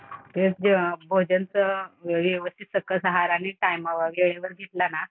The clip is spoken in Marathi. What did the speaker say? तेच ते भोजनचं व्यवस्थित सकस आहार आणि टायमावर घेतलं ना